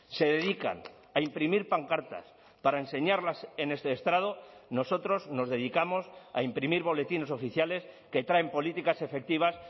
se dedican a imprimir pancartas para enseñarlas en este estrado nosotros nos dedicamos a imprimir boletines oficiales que traen políticas efectivas